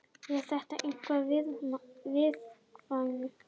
Er þetta eitthvað viðkvæmt?